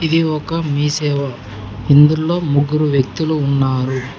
ఇది ఒక మీ సేవ ఇందులో ముగ్గురు వ్యక్తులు ఉన్నారు.